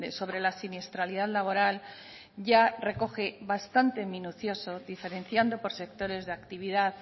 sobre la siniestralidad laboral ya recoge bastante minucioso diferenciando por sectores de actividad